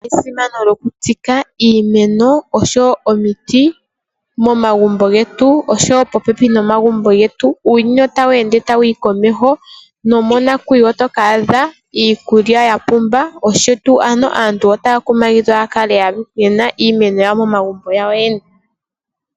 Esimano lyokutsika iimeno noshowo omiti momagumbo getu oshowo popepi nomagumbo getu. Uuyuni otawu ende tawu yi komeho nomonakuyiwa oto ka adha iikulya ya pumba, onkene aantu otaya kumagidhwa opo aluhe ya kale ye na iimeno yawo momagumbo gawo yoyene.